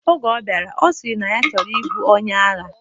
Oge ọ bịara, ọ sịrị na ya chọrọ ibu onye agha.